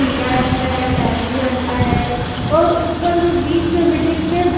पीला रंग का है बैगनी रंग का है और ऊपर में बीच में मिडिल में--